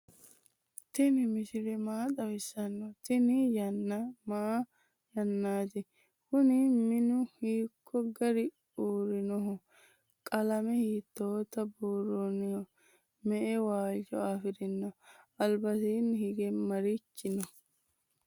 tini misile maa xawisano? tini yaana maa yaanati? kuuni minu hiko garini uurinoho? qalame hitota buuroniho?ma"e walcho afirino? albasini hige marichi no?